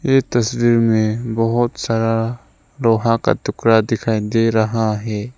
इस तस्वीर मे बहोत सारा लोहा का टुकड़ा दिखाई दे रहा है।